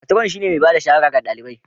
Matron shine mai ba da shawara ga ɗalibai